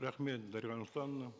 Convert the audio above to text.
рахмет дарига нурсултановна